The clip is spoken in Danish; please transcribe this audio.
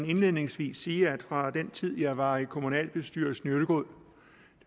indledningsvis sige at fra den tid jeg var i kommunalbestyrelsen i ølgod